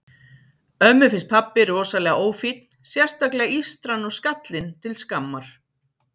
Ömmu finnst pabbi rosalega ófínn, sérstaklega ístran og skallinn til skammar.